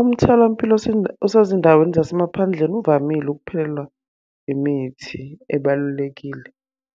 Umtholampilo osezindaweni zasemaphandleni uvamile ukuphelelwa imithi ebalulekile.